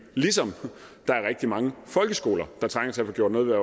ligesom der er rigtig mange folkeskoler der trænger til at få gjort noget ved